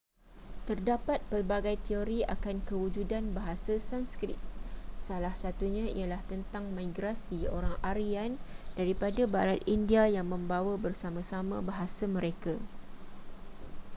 terdapat pelbagai teori akan kewujudan bahasa sanskrit salah satunya ialah tentang migrasi orang aryan daripada barat india yang membawa bersama-sama bahasa mereka